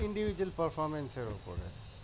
এর উপরে